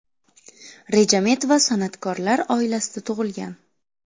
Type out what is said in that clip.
Rejametova san’atkorlar oilasida tug‘ilgan.